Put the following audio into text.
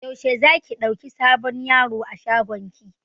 Yaushe za ki ɗauki sabon yaro a shagon ki?